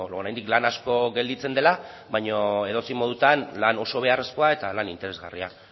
oraindik lan asko gelditzen dela baina edozein modutan lan oso beharrezkoa eta lan interesgarria